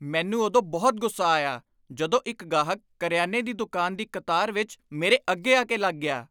ਮੈਨੂੰ ਉਦੋਂ ਬਹੁਤ ਗੁੱਸਾ ਆਇਆ ਜਦੋਂ ਇੱਕ ਗਾਹਕ ਕਰਿਆਨੇ ਦੀ ਦੁਕਾਨ ਦੀ ਕਤਾਰ ਵਿੱਚ ਮੇਰੇ ਅੱਗੇ ਆਕੇ ਲੱਗ ਗਿਆ।